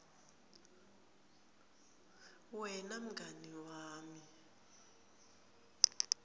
wena mngani wami